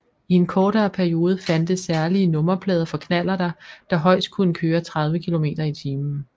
I en kortere periode fandtes særlige nummerplader for knallerter der højst kunne køre 30 km i timen